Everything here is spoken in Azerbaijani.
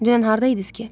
Dünən hardaydınız ki?